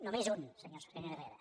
només un senyor herrera